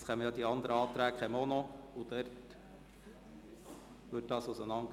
Es werden auch noch die anderen Anträge beraten.